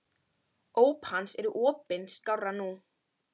Óp hans er opin skárra nú.